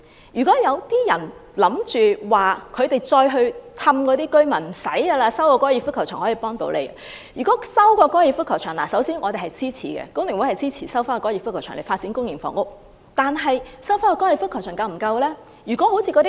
如果有人想欺騙那些居民說，只要收回粉嶺高爾夫球場便可以幫助他們......首先，工聯會支持收回高球場以發展公營房屋，但收回高球場是否已經足夠？